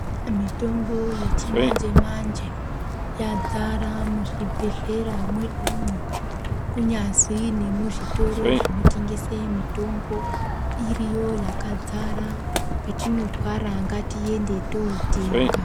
Kune mitombo yechi manje manje yadzara muzvibhedhlera medumwo . Kunyazi nekuzvitoro zvinotengesa mitombo iriyo yakadzara petinorwara ngatiende totenga.